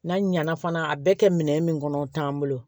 N'a ɲana fana a bɛɛ kɛ minɛ min kɔnɔ o t'an bolo